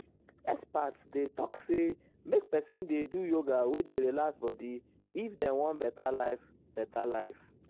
experts dey talk say make person dey do yoga wey dey relax body if dem wan better life. better life.